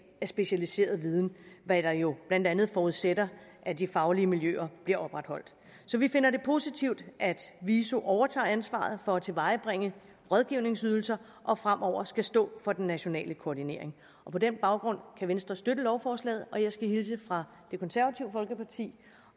af specialiseret viden hvad der jo blandt andet forudsætter at de faglige miljøer bliver opretholdt så vi finder det positivt at viso overtager ansvaret for at tilvejebringe rådgivningsydelser og fremover skal stå for den nationale koordinering og på den baggrund kan venstre støtte lovforslaget jeg skal hilse fra det konservative folkeparti